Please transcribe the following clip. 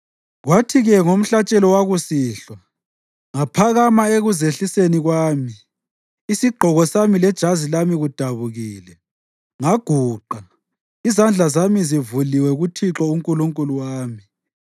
Kwathi-ke ngomhlatshelo wakusihlwa, ngaphakama ekuzehliseni kwami, isigqoko sami lejazi lami kudabukile, ngaguqa, izandla zami zivuliwe kuThixo uNkulunkulu wami